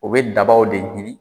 O bɛ dabaw de ɲini